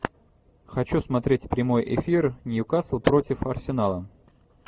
хочу смотреть прямой эфир ньюкасл против арсенала